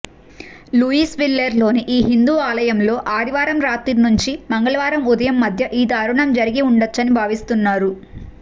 లూయిస్విల్లేలోని ఈ హిందూ ఆలయంలో ఆదివారం రాత్రి నుంచి మంగళవారం ఉదయం మధ్య ఈ దారుణం జరిగి ఉండొచ్చని భావిస్తున్నారు